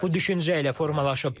Bu düşüncə ilə formalaşıb.